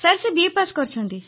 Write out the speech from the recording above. sir ସେ BA pass କରିଛନ୍ତି